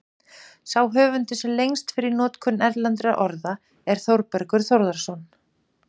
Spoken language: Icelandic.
Sá höfundur, sem lengst fer í notkun erlendra orða, er Þórbergur Þórðarson.